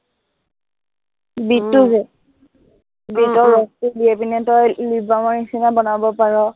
বিটটো যে বিটৰ ৰসটো লৈ কিনে তই lip balm ৰ নিচিনা বনাব পাৰ